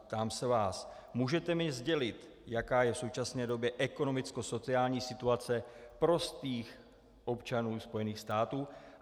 Ptám se vás: Můžete mi sdělit, jaká je v současné době ekonomickosociální situace prostých občanů Spojených států?